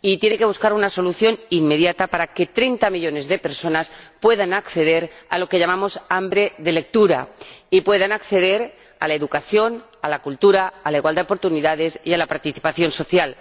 y tiene que buscar una solución inmediata para que 30 millones de personas puedan acceder a lo que llamamos hambre de lectura, así como a la educación, a la cultura, a la igualdad de oportunidades y a la participación social.